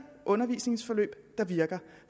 undervisningsforløb der virker